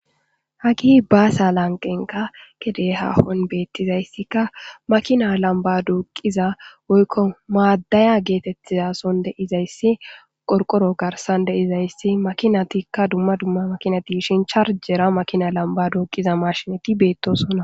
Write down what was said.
hagi baasya lanqenka kede hahon beettizayssikka makina lamba duuqiza woykko maaddaya geetettizason deizayssi qorqoro garsan deizayssi makinatikka dumma dumma makinati shin charjera makina lamba duuqiza mashinati beettosonna